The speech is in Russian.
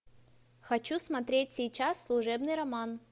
хочу смотреть сейчас служебный роман